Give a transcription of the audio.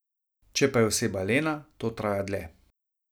Če pa je oseba lena, to traja dlje.